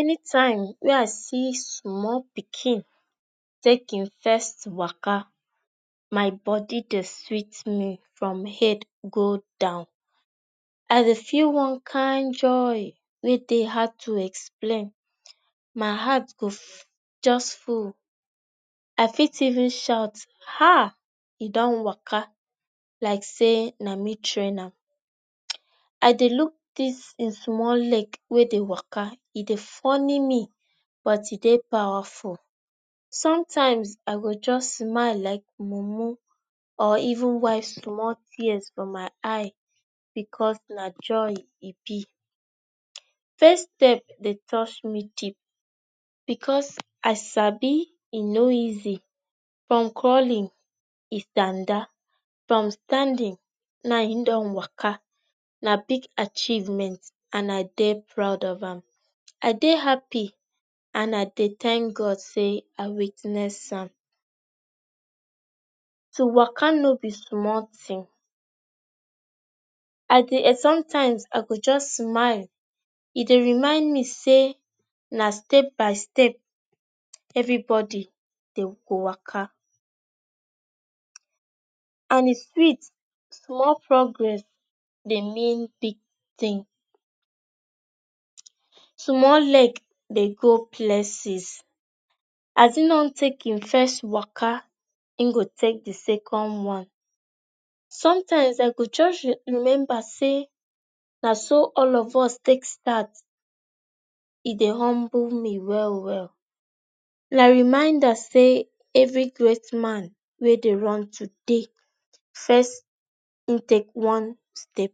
anytime wey i see small pikin take e first waka, my body dey sweet me from head go down. i dey feel one kain joy wey dey hard to explain. my heart go fuu just full. i fit even shout, 'haaaa, e dun waka' like say na me train am. um i dey look this en small leg wey dey waka e dey funny me but e dey powerful. sometimes i go just smile like mumu or even wipe small tears from my eye because na joy e be. first step dey touch me deep because i sabi e no easy. from crawling e standa, from standing now e dun waka na big acheivemnet and i dey proud of am. i dey happy and i dey thank God say i witness am to waka no be small thing i dey eh sometimes i go just smile, e dey remind me say na step by step um everybody dey waka and e sweet small progress dey mae big thing um small leg dey go places. as e dun take e first waka e go take the second one. sometimes i go just dey remember say na so all of us take start. e dey humble me well well. na reminder say every great man wey dey run today first em take one step.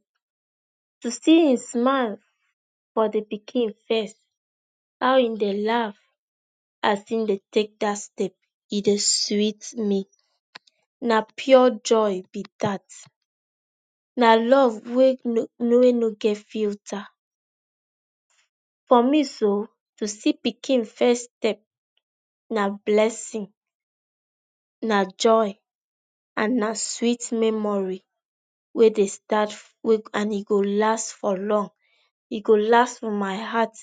to see e smile for the pikin face how e dey laugh as en dey take that step e dey sweet me. na pure joy be that. na love wey no no wey no get filter. For me so, to see pikin first step na blessing, na joy, and na sweet memory wey dey start and e go last for long. e go last for my heart.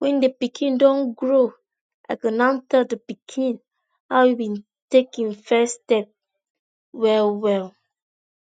when the pikin dun grow i go now tell the pikin how en take en first step, well well